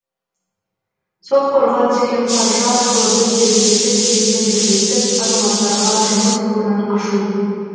сол қорға түскен қаржы арқылы біз жергілікті билікпен бірлесіп азаматтарға жұмыс орнын ашу